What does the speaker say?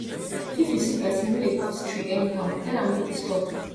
if you see pesin wey dey cut tree anyhow tell am make e stop